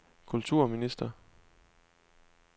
kulturminister